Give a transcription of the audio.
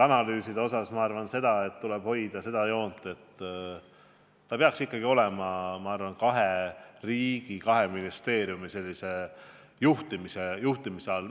Analüüside kohta arvan ma seda, et tuleb hoida joont, et see peaks olema kahe riigi, kahe ministeeriumi juhtimise all.